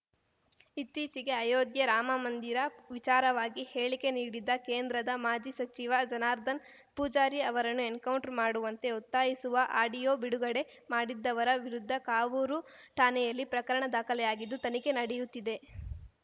ಇತ್ತೀಚೆಗೆ ಅಯೋಧ್ಯೆ ರಾಮಮಂದಿರ ವಿಚಾರವಾಗಿ ಹೇಳಿಕೆ ನೀಡಿದ್ದ ಕೇಂದ್ರದ ಮಾಜಿ ಸಚಿವ ಜನಾರ್ದನ್ ಪೂಜಾರಿ ಅವರನ್ನು ಎನ್‌ಕೌಂಟರ್‌ ಮಾಡುವಂತೆ ಒತ್ತಾಯಿಸುವ ಆಡಿಯೋ ಬಿಡುಗಡೆ ಮಾಡಿದ್ದವರ ವಿರುದ್ಧ ಕಾವೂರು ಠಾಣೆಯಲ್ಲಿ ಪ್ರಕರಣ ದಾಖಲೆಯಾಗಿದ್ದು ತನಿಖೆ ನಡೆಯುತ್ತಿದೆ